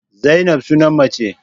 Zainab sunan mace.